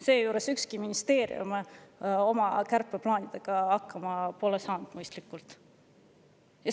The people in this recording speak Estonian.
" Seejuures pole ükski ministeerium oma kärpeplaanidega mõistlikult hakkama saanud.